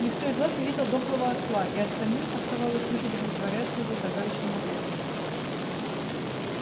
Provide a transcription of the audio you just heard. никто из вас не видел дохлого осла и остальным оставалось лишь удовлетворяться его загадочным ответом